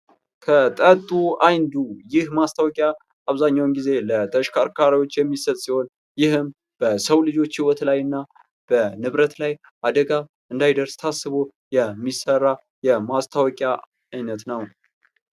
ከጠጡ አይንዱ ይህ ማስታወቂያ አብዛኛውን ጊዜ ለ ተሽከርካሪዎች የሚሰጥ ሲሆን ይህም በሰው ልጆች ህይወት ላይና በንብረት ላይ አደጋ እንዳይደርስ ታስቦ የሚሰራ የማስታወቂያ አይነት ነው።